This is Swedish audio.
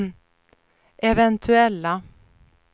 eventuella